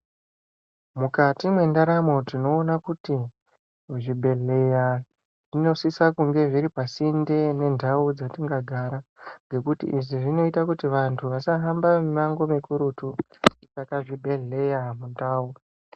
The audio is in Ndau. Mukati mendaramo tinoona kuti zvibhedhleya zvinosiso kunge zviri pasinde nendau dzatinogara. Ngekuti izvi zvinoita kuti antu asahamba mimango mikurutu saka zvibhedhleya mundau.